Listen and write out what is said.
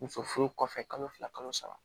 Muso furu kɔfɛ kalo fila kalo saba